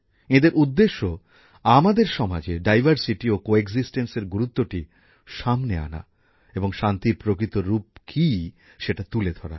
এঁদের উদ্দেশ্য আমাদের সমাজে বৈচিত্র ও সহাবস্থানের গুরুত্বটি সামনে আনা এবং শান্তির প্রকৃত রুপ কী সেটা তুলে ধরা